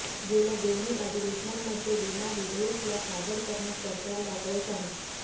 गेल्या दोनही अधिवेशनांमध्ये विमा विधेयकला सादर करण्यास सरकारला अपयश आहे